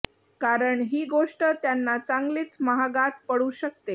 कारण ही गोष्ट त्यांना चांगलीच महागात पडू शकते